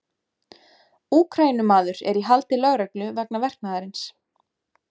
Úkraínumaður er í haldi lögreglu vegna verknaðarins.